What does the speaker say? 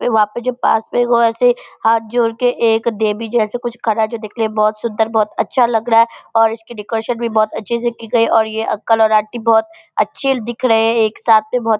वहाँ पे जो पास मे एगो ऐसे हाथ जोडके एक देवी जैसे कुछ खड़ा है जो देखने मे बहुत सुन्दर बहुत अच्छा लग रहा है और इसके डेकोरेशन भी बहुत अच्छी से किए गए है और ये अंकल और आंटी बहुत अच्छे दिख रहे हैं | एक साथ बहुत --